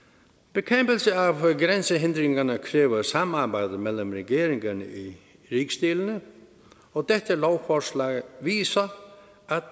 bekæmpelse af grænsehindringerne kræver samarbejde mellem regeringerne i rigsdelene og dette lovforslag viser at